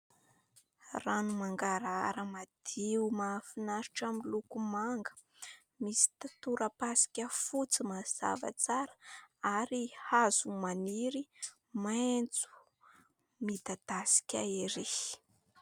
Rano mangarahara madio mahafinaritra miloko manga, misy tora-pasika fotsy mazava tsara ary hazo maniry maintso midadasika ery.